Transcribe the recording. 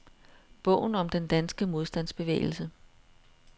Bogen om den danske modstandsbevægelse.